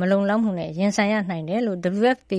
မလုံလောက်မှုနဲ့ ရင်ဆိုင်ရနိုင်တယ်လို့ WFP